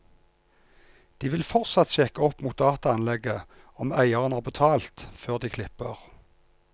De vil fortsatt sjekke opp mot dataanlegget om eieren har betalt, før de klipper.